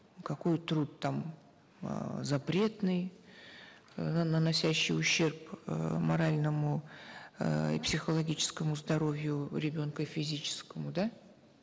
какой труд там э запретный наносящий ущерб э моральному эээ психологическому здоровью ребенка и физическому да